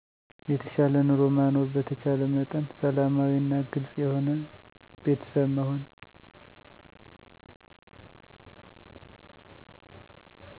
የተሻለ ኑሮ ማኖር በተቻለ መጠን ሰላማዊ እና ግልፅ የሆነ ቤተሰብ መሆን